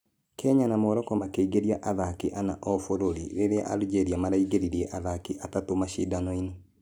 Kenya na Morocco makĩingĩria athaki ana ũũ bũrũri rĩrĩa algeria maraingeririe athaki atatũ mashidano-inĩ.